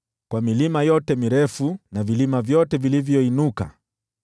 kwa milima yote mirefu na vilima vyote vilivyoinuka,